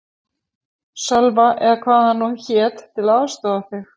Sölva eða hvað hann nú hét, til að aðstoða þig.